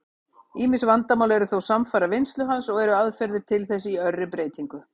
Ýmis vandamál eru þó samfara vinnslu hans, og eru aðferðir til þess í örri breytingu.